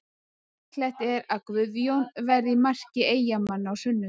Líklegt er að Guðjón verði í marki Eyjamanna á sunnudag.